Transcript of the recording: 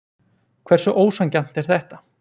Hversu ósanngjarnt er þetta?